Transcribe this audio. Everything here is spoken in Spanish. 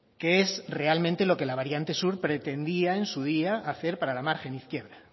que es realmente lo que la variante sur pretendía en su día hacer para la margen izquierda